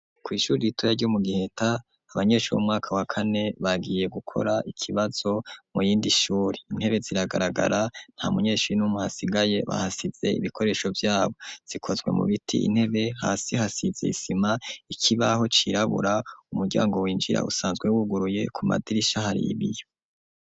Kw'ishuri ditoya ryo mu giheta abanyeshuri 'umwaka wa kane bagiye gukora ikibazo mu yindi shuri intebe ziragaragara nta munyeshuri n'umuhasigaye bahasize ibikoresho vyabo zikozwe mu biti intebe hasi hasizesima ikibaho cirabura umuryango winjira usanzwewuguruye ku madirisha haribiyo.